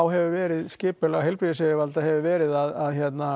hefur verið skipulag heilbrigðisyfirvalda hefur verið að hérna